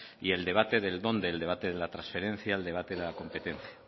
y el debate de dónde el debate de la transferencia el debate de la competencia